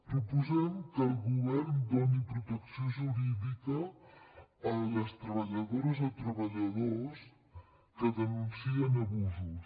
proposem que el govern doni protecció jurídica a les treballadores o treballadors que denuncien abusos